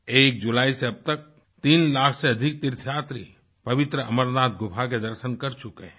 1 जुलाई से अब तक तीन लाख से अधिक तीर्थयात्री पवित्र अमरनाथ गुफा के दर्शन कर चुके हैं